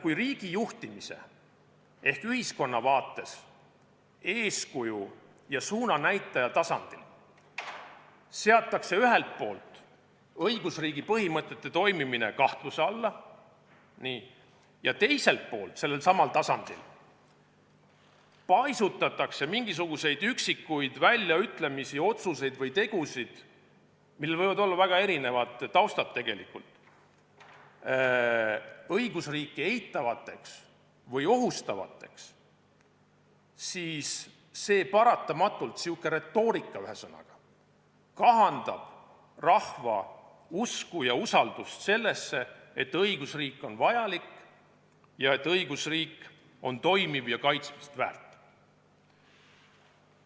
Kui riigijuhtimise ehk ühiskonna vaates eeskuju ja suunanäitaja tasandil seatakse ühelt poolt õigusriigi põhimõtete toimimine kahtluse alla, teiselt poolt aga paisutatakse sellelsamal tasandil mingisuguseid üksikuid väljaütlemisi, otsuseid või tegusid – millel võib olla väga erinev taust – õigusriiki eitavateks või ohustavateks, siis selline retoorika paratamatult kahandab rahva usku ja usaldust sellesse, et õigusriik on vajalik, toimiv ja kaitsmist väärt.